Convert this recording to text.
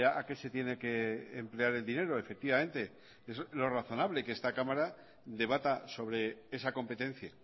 a qué se tiene que emplear el dinero efectivamente eso es lo razonable que esta cámara debata sobre esa competencia